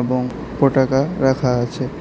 এবং পটাকা রাখা আছে।